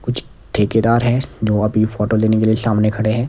कुछ ठेकेदार हैं जो अभी फोटो लेने के लिए सामने खड़े हैं।